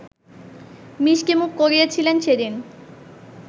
মিষ্টিমুখ করিয়েছিলেন সেদিন